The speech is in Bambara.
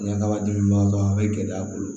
Ɲɛgama dili b'an kan a bɛ gɛlɛya a bolo